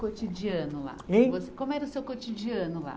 Cotidiano lá. Hein? Como era o seu cotidiano lá?